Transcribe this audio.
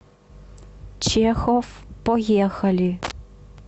чехов поехали